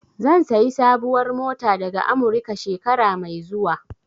Zan sayi sabuwar mota daga Amurika, shekara mai zuwa.